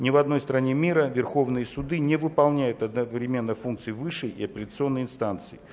ни в одной стране мира верховные суды не выполняют одновременно функции высшей и апелляционной инстанции